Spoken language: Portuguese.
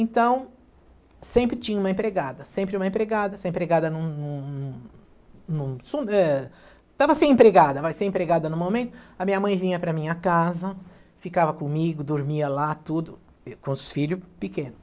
Então, sempre tinha uma empregada, sempre uma empregada, se a empregada num num num num num eh... estava sem empregada, vai ser empregada num momento, a minha mãe vinha para a minha casa, ficava comigo, dormia lá, tudo, com os filhos pequeno.